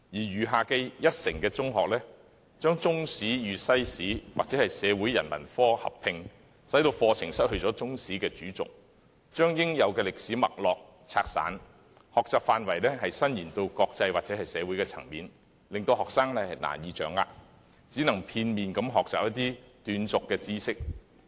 餘下一成的中學則將中史與西史或社會人文科合併，以致課程失去中史的主軸，把應有的歷史脈絡拆散，而將學習範圍伸延至國際或社會層面，更令學生難以掌握，只可片面地學習一些斷續的知識。